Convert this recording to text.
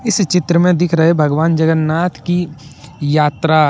इस चित्र में दिख रहे भगवान जगन्नाथ की यात्रा--